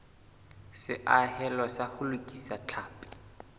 seahelo sa ho lokisa tlhapi